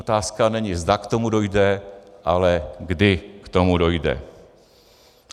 Otázka není, zda k tomu dojde, ale kdy k tomu dojde.